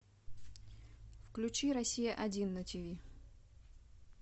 включи россия один на тв